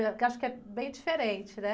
Porque eu acho que é bem diferente, né?